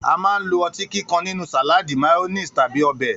A máa ń lo o̩tí kíkan nínú sàláàdì, máyó̩néèsì tàbí o̩bè̩